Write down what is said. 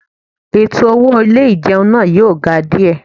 Ètò owó ilé ìjẹun náà yóò ga díẹ̀